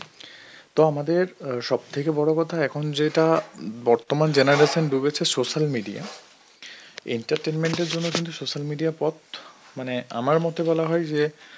তো আমাদের অ্যাঁ সব থেকে বড় কথা এখন যেটা অ্যাঁ বর্তমান generation ডুবেছে social media আয় entertainment এর জন্য কিন্তু social media আর পথ মানে আমার মতে বলা হয় যে